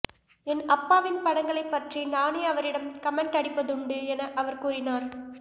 என் அப்பாவின் படங்களை பற்றி நானே அவரிடம் கமெண்ட் அடிப்பதுண்டு என அவர் கூறினார்